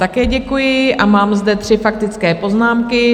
Také děkuji a mám zde tři faktické poznámky.